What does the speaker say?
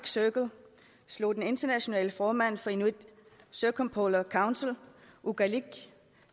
circle slog den internationale formand for inuit circumpolar council okalik